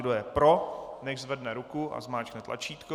Kdo je pro, nechť zvedne ruku a zmáčkne tlačítko.